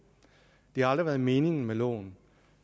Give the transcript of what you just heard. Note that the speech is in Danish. det har aldrig været meningen med loven